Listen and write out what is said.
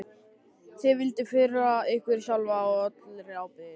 Þið vilduð firra ykkur sjálfa allri ábyrgð.